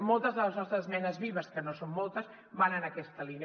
moltes de les nostres esmenes vives que no són moltes van en aquesta línia